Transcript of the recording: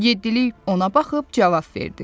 Yeddilik ona baxıb cavab verdi.